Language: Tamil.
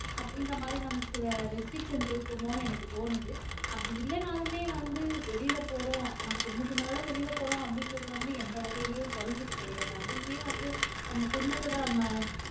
அப்படின்ற மாதிரி நமக்கு சில restrictions இருக்குமோன்னு எனக்கு தோணுது அப்படி இல்லைனாலுமே வந்து வெளியில போறோம் நான் குடும்பத்தினரோட வெளியில போறோம் அப்படின்றது வந்து எந்த வகையிலும் குறைஞ்சது கிடையாது அதுவுமே வந்து நம்ம குடும்பத்தோட நம்ம